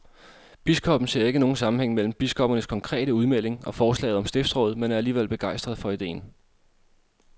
Biskoppen ser ikke nogen sammenhæng mellem biskoppernes konkrete udmelding og forslaget om stiftsråd, men er alligevel begejstret for ideen.